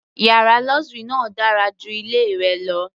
Yàrá luxury náà dára ju ilé rẹ lọ.